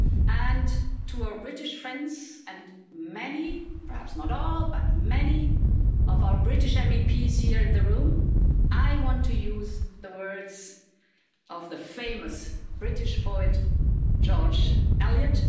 And to our British friends, and many perhaps not all, but many of our British MEPs here in the room, I want to use the words of the famous British poet George Eliot.